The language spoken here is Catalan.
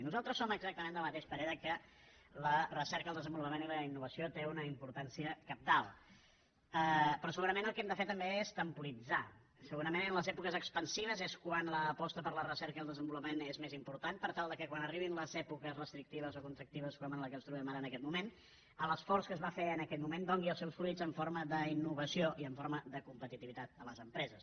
nosaltres som exactament del mateix parer que la recerca el desenvolupament i la innovació tenen una importància cabdal però segurament el que hem de fer també és temporitzar segurament en les èpoques expansives és quan l’aposta per la recerca i el desenvolupament és més important per tal que quan arribin les èpoques restrictives o contractives com la que ens trobem ara en aquest moment l’esforç que es va fer en aquell moment doni els seus fruits en forma d’innovació i en forma de competitivitat a les empreses